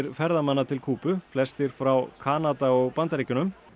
ferðamanna til Kúbu flestir frá Kanada og Bandaríkjunum